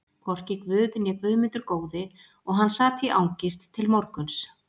Hvorki Guð né Guðmundur góði og hann sat í angist til morguns.